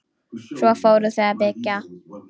Svo fóru þau að byggja.